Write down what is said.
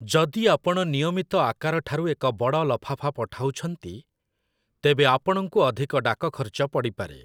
ଯଦି ଆପଣ ନିୟମିତ ଆକାରଠାରୁ ଏକ ବଡ଼ ଲଫାଫା ପଠାଉଛନ୍ତି, ତେବେ ଆପଣଙ୍କୁ ଅଧିକ ଡାକ ଖର୍ଚ୍ଚ ପଡ଼ିପାରେ ।